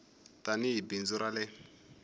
tani hi bindzu ra le